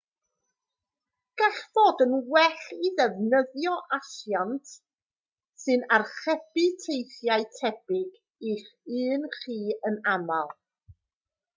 gall fod yn well i ddefnyddio asiant sy'n archebu teithiau tebyg i'ch un chi yn aml